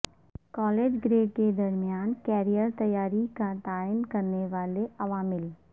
college grade کے درمیان career تیاری کا تعین کرنے والے عوامل